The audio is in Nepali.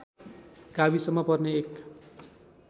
गाविसमा पर्ने एक